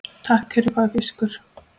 Takk fyrir fagur fiskur.